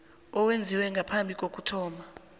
owenziwe ngaphambi kokuthoma